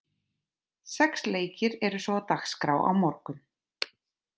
Sex leikir eru svo á dagskrá á morgun.